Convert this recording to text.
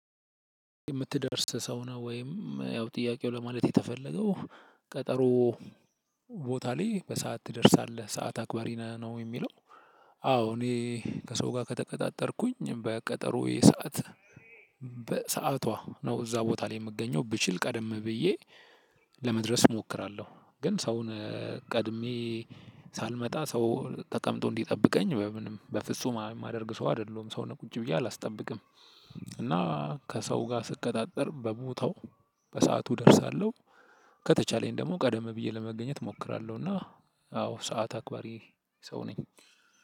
የምትደርስ ሰው ነህ ወይም ያው ጥያቄው ለማለት የተፈለገው ቀጠሮው ቦታ ላይ በሰአት ትደርሳለህ ሰዓት አክባሪ ነህ ወይ የሚለው? አዎ እኔ ከሰው ጋር ከተቀጣጠርኩኝ በቀጠሮየ ሰዓት በሰዓቷ ነው እዛ ቦታ ላይ የምገኘው ብችል ቀደም ብዬ ለመድረስ እሞክራለሁ። ግን ሰውን ቀድሜ ሳልመጣ ሰው ተቀምጦ እንዲጠብቀኝ በምንም በፍጹም የማደርግ ሰው አይደለሁም። ሰው ነው ቁጭ ብዬ አላስጠብቅም። እና ከሰው ጋር ስቀጣጠር በቦታው በሰአቱ እደርሳለሁ። ቀደም ብየ ለመድረስ እሞክራለሁና ሰዓት አክባሪ ነኝ።